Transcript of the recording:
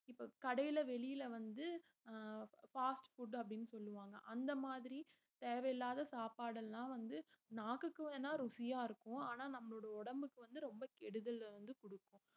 இப்ப கடையில வெளியில வந்து ஆஹ் fast food அப்படின்னு சொல்லுவாங்க அந்த மாதிரி தேவையில்லாத சாப்பாடுல்லாம் வந்து நாக்குக்கு வேணா ருசியா இருக்கும் ஆனா நம்மளோட உடம்புக்கு வந்து ரொம்ப கெடுதல வந்து கொடுக்கும்